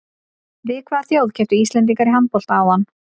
Við hvaða þjóð kepptu Íslendingar í handbolta áðan?